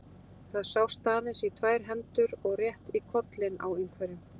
Það sást aðeins í tvær hendur og rétt í kollinn á einhverjum.